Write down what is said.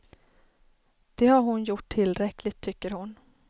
Det har hon gjort tillräckligt, tycker hon.